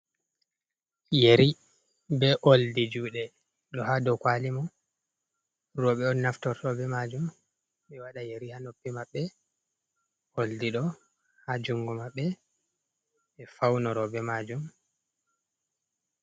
Yeri be oldi juuɗe, ɗo ha dou kwali mum. Rowɓe on naftorto be maajum, be waɗa yari ha noppi maɓɓe, oldi ɗo ha jungo maɓɓe, be faunoro be maajum.